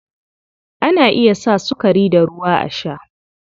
Ana iya sa sukari da ruwa a sha gari.